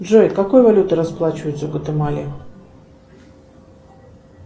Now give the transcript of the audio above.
джой какой валютой расплачиваются в гватемале